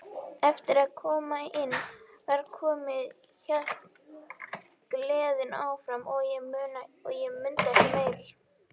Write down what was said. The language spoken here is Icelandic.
Eftir að inn var komið hélt gleðin áfram en ég mundi ekki meir.